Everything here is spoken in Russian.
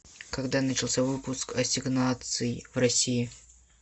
когда начался выпуск ассигнаций в россии